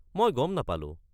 মই গম নাপালো।